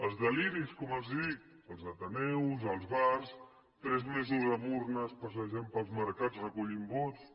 els deliris com els dic als ateneus als bars tres mesos amb urnes passejant pels mercats recollint vots